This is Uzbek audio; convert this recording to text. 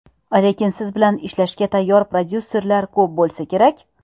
Lekin siz bilan ishlashga tayyor prodyuserlar ko‘p bo‘lsa kerak?